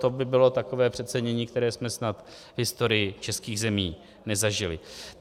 To by bylo takové přecenění, které jsme snad v historii českých zemí nezažili.